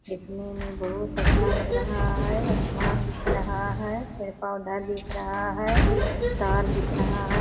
देखने में बहुत अच्छा लग रहा है आसमान दिख रहा है पेड़-पौधा दिख रहा है तार दिख रहा है।